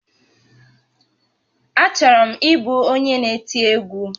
Achọrọ m ịbụ onye n'eti egwu